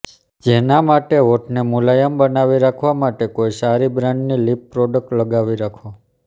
જેના માટે હોઠને મુલાયમ બનાવી રાખવા માટે કોઇ સારી બ્રાન્ડની લિપ પ્રોડક્ટ લગાવી રાખો